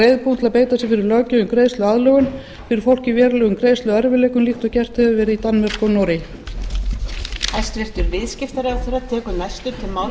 reiðubúinn til að beita sér fyrir löggjöf um greiðsluaðlögun fyrir fólk í verulegum greiðsluerfiðleikum líkt og gert hefur verið í danmörku og noregi